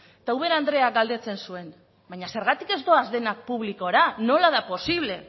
eta ubera andreak galdetzen zuen baina zergatik ez doaz denak publikora nola da posible